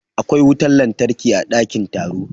Akwai wutar lantarki a dakin taro.